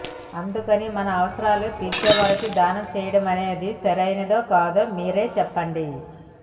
అందుకని మన అవసరాలు తీర్చేవారికి దానం చేయడమనేది సరైనదో కాదో మీరే చెప్పండి